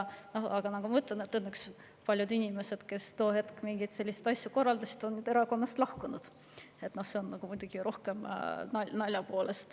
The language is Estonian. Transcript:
Aga ma ütlen, et õnneks paljud inimesed, kes tol ajal selliseid asju korraldasid, on nüüdseks erakonnast lahkunud – see on muidugi rohkem naljaga.